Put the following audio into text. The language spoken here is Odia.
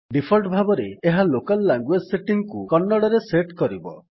ଡିଫଲ୍ଟ ଭାବରେ ଏହା ଲୋକାଲ୍ ଲାଙ୍ଗୁଏଜ୍ ସେଟିଙ୍ଗ୍ କୁ କନ୍ନଡ଼ରେ ସେଟ୍ କରିବ